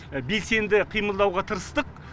белсенді қимылдауға тырыстық